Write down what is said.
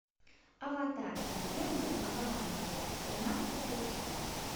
аватар легенда об аанге тринадцатая часть